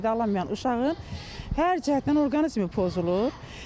Düzgün qidalanmayan uşağın hər cəhətdən orqanizmi pozulur.